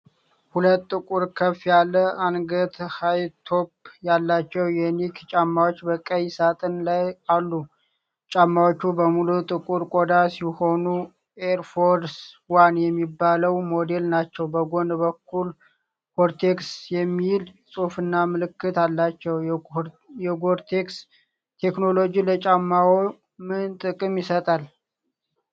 ሁለት ጥቁር ከፍ ያለ አንገት (ሀይ-ቶፕ) ያላቸው የኒኬ ጫማዎች በቀይ ሳጥን ላይ አሉ። ጫማዎቹ በሙሉ ጥቁር ቆዳ ሲሆኑ 'ኤር ፎርስ 1' የሚባለው ሞዴል ናቸው። በጎን በኩል 'ጎርቴክስ' የሚል ጽሑፍና ምልክት አላቸው። የ'ጎርቴክስ' ቴክኖሎጂ ለጫማው ምን ጥቅም ይሰጣል?